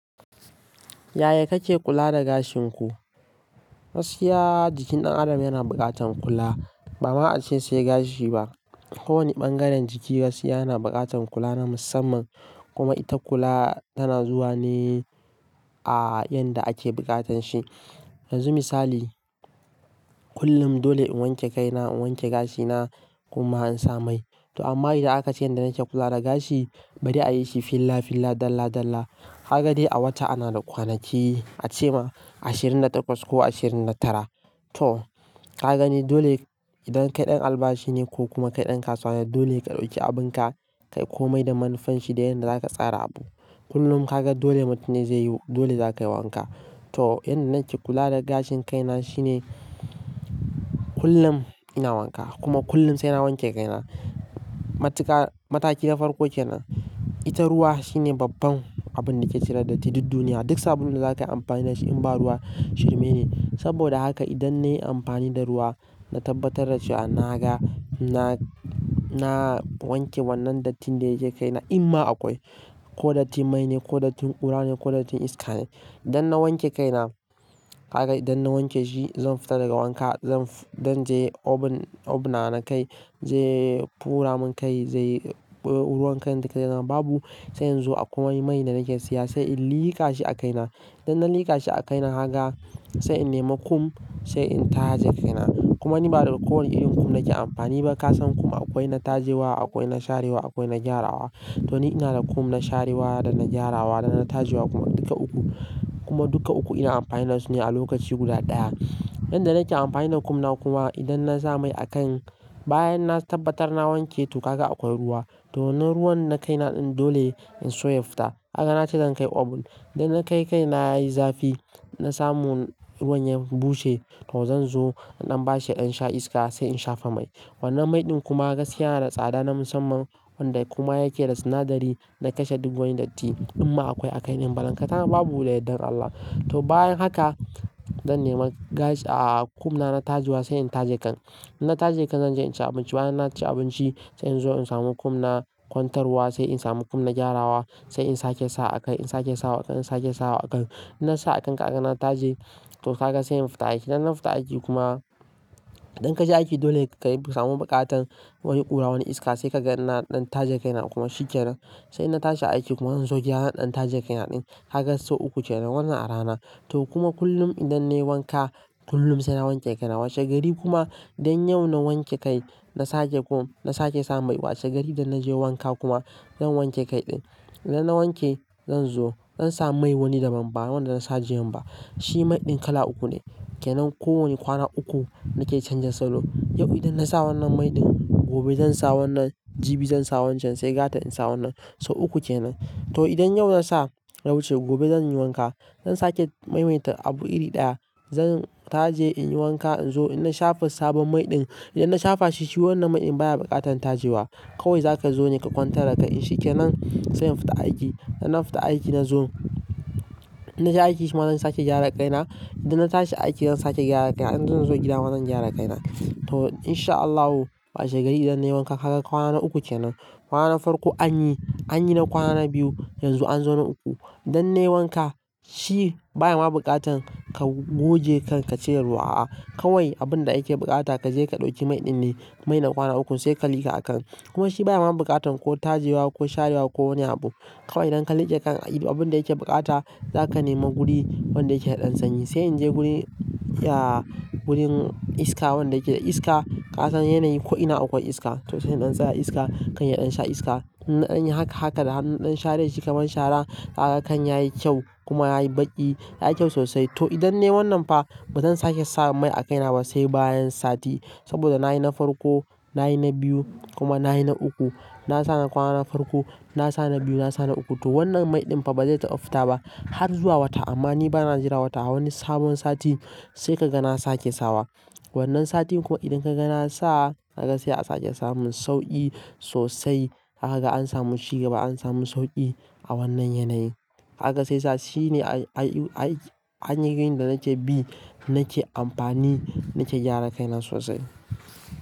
Yaya kake kula da gashin ku? Gaskiya jikin ɗan adam yana buƙatan kula. Ba ma ace sai gashi ba. Ko wani bangaren jiki gaskiya yana buƙatan kula na musamman kuma ita kula tana zuwa ne a yanda ake buƙatan shi. Yanzu misali kullum dole in wanke kai na, in wanke gashi na kuma in sa mai. To amma idan aka ce inda nake kula da gashi bari a yi shi fillafilla dalla dalla. Kaga dai a wata ana da kwanaki a ce ma ashirin da takwas ko ashirin da tara. To ka ga ne dole idan kai ɗan albashi ne ko kuma kai ɗan kasuwa dole ka ɗauki abin ka kai ko mai da manufanshi da yanda aka tsara abu. Kullum kaga dole mutum zai yi dole zaka yi wanka. To yanda nake kula da gashin kai na shine kullum ina wanka kuma kullum sai na wanke kai na. Matuka mataki na farko kenan, ita ruwa shine babban abin da ke cire datti duk duniya. Duk sabulun da zakayi amfani da shi in ba ruwa shirmi ne. Saboda haka idan nayi amfani da ruwa, na tabbatar da cewa naga, na, na wanke wannan dattin da yake kai na in ma akwai. Ko dattin mai ne, ko dattin ƙura ne, ko dattin iska ne. Idan na wanke kai na, kaga idan na wanke shi zan fita daga wanka, zan, je obun, obna na kai zai furamin kai zai ruwan kan zai zama duk. Babu sai in zo a kwai wani mai da nake siya sai in liƙa shi a kai na. Idan na liƙa shi a kai na kaga sai in nema kum sai in taje kai na. Kuma ni ba da ko wani irin kum nake amfani ba. Ka san kum akwai na taje wa, akwai na share wa, akwai na gyara wa. To ni ina da kum na share wa da na gyara wa da na taje wa kuma duka uku kuma duka uku ina amfani da su ne a lokaci guda ɗaya. Yanda nake amfani da kum na kuma idan na sa mai a kan bayan na tabbatar na wanke to ka ga akwai ruwa. To wanan ruwan na kai na ɗin dole in soya fita. Kaga na ce zan kai obun. Idan na kai kai na yayi zafi, na samu ruwan ya bushe to zan zo in ba shi ya ɗan sha iska sai in shafa mai. Wannan mai ɗin kuma gaskiya yana da tsada na musamman wanda kuma yake da sinadari na kashe duk wani datti in ma akwai a kai ɗin. Balan ka tana babu da yardan Allah. To bayan haka zan nema gashi a kum na, na taje wa sai in taje kan. Idan na taje kan zan je in ci abinci. Bayan na ci abinci sai in zo in samu kum na kwantar wa sai in samu kum na gyara wa sai in sake sawa a kan, in sake sawa a kan, in sake sawa a kan. Idan na sa a kan ka haka na taje to ka ga sai in fita aiki. Idan na fita aiki kuma idan ka je aiki dole ka samu buƙatan wani ƙura, wani iska sai ka ga na ɗan taje kai na kuma shikenan. Sai na tashi aiki kuma zan zo gida zan dan taje kai na ɗin. Kaga sau uku kenan wannan a rana. To kuma kullum idan nayi wanka kullum sai na wanke kai na. Washe gari kuma dan yau na wanke kai na sake kum, na sake sa mai. Washe gari idan naje wanka kuma zan wanke kai ɗin. Idan na wanke zan zo zan sa mai wani daban ba wanda na sa jiyan ba. Shi mai ɗin kala uku ne kenan. Ko wani kwana uku nake canza salo. Yau idan na sa wannan mai ɗin gobe zan sa wannan, jibi zan sa wancan sai gata in sa wannan. Sau uku kenan. To idan yau na sa yawuce gobe zan yi wanka. Zan sake maimaita abu iri ɗaya. Zan taje in yi wanka in zo in na shafa sabon mai ɗin. Idan na shafa shi shi wannan mai ɗin baya buƙatan taje wa. Kawai zaka zo ne ka kwantar da kai in shikenan sai in fita aiki. Idan na fita aiki na zo, na je aiki shima zan sake gyara kai na. Idan na tashi aiki zan sake gyara kai na. Idan zan zo gida ma zan gyara kai na. To insha Allahu washe gari idan nayi wanka kaga kwana na uku kenan. Kwana na farko anyi, anyi na kwana na biyu yanzu an zo na uku. Idan nayi wanka shi baya ma buƙatan ka goge kan ka cire ruwa a'a. Kawai abun da ake buƙata ka je ka ɗauki mai ɗin ne. Mai na kwana uku sai ka liƙa a kan. Kuma shi baya ma buƙatan ko taje wa ko share wa ko wani abu. Kawai idan ka liƙe kan a yi abun da yake buƙata zaka nema guri wanda yake da ɗan sanyi. Sai in je guri, ya gurin iska wanda yake da iska. Ka san yanayi ko ina akwai iska to sai in ɗan tsaya iska. Kan ya ɗan sha iska. Inna dan yi haka haka da hannun ɗan share shi kamar shara kaga kan yayi kyau kuma yayi baƙi yayi kyau sosai. To idan nayi wannan fa bazan sake sa mai a kai na ba sai bayan sati. Saboda na yi na farko, na yi na biyu kuma na yi na uku. Na sa na kwana na farko, na sa na biyu, na sa na uku. To wannan mai ɗin fa bazai taɓa fita ba har zuwa wata amma ni bana jira wata. Wani sabon sati sai ka ga na sake sawa. Wannan satin kuma idan ka ga na sa kaga sai a sake samun sauƙi sosai. Akaga ansamu ci gaba an samu sauƙi a wannan yanayin. Haka sai sa shi ne a a a aiki, hanyoyin da nake bi nake amfani nake gyara kai na sosai.